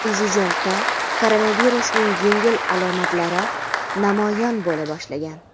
Prezidentda koronavirusning yengil alomatlari namoyon bo‘la boshlagan.